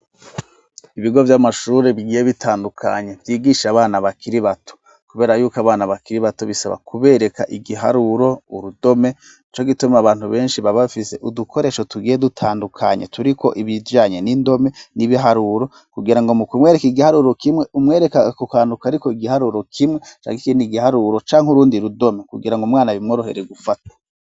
Ibigo vy'amashuri bigiye bitandukanye vyigisha abana bakiri bato kubera yuko abana bakiri bato bisaba kubereka igiharuro, urudome nico gituma abantu benshi baba bafise udukoresho tugiye dutandukanye turiko ibijanye n'indome n'ibiharuro kugira ngo mu kumwereka igiharuro kimwe umwereke ku kantu kariko igiharuro kimwe canke ikindi igiharuro canke urundi rudome kugira ngo umwana bimworohere gufata.